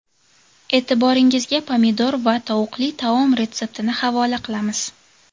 E’tiboringizga pomidor va tovuqli taom retseptini havola qilamiz.